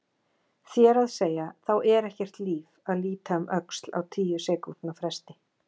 Þér að segja, þá er ekkert líf að líta um öxl á tíu sekúndna fresti.